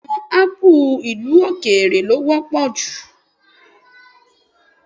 Bẹ́ẹ̀ni, àwọn ápù ìlú-òkèèrè lọ wọ́pọ̀ jù